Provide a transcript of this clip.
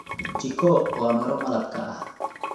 Chikoo waa miro malabka ah.